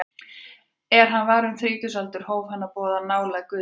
Er hann var um þrítugsaldur hóf hann að boða nálægð Guðs ríkis.